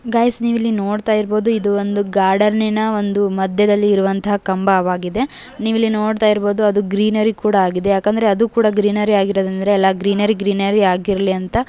Guys ನೀವು ಇಲ್ಲಿ ನೋಡ್ತಇರಬಹುದು ಇದು ಒಂದು ಗಾರ್ಡೆನ್ನಿನ ಒಂದು ಮದ್ಯದಲ್ಲಿ ಇರುವಂತಹ ಕಂಬವಾಗಿದೆ ನೀವಿಲ್ಲಿ ನೋಡ್ತಾ ಇರ್ಬಹುದು ಅದು ಗ್ರೀನರಿ ಆಗಿದೆ ಯಾಕಂದ್ರೆ ಅದು ಕೂಡ ಗ್ರೀನರಿ ಆಗಿರೋದ್ರಿಂದ ಎಲ್ಲಾ ಗ್ರೀನರಿ ಗ್ರೀನರಿ ಆಗಿರ್ಲಿ ಅಂತ.